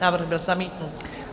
Návrh byl zamítnut.